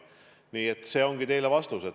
Nii et see ongi vastus.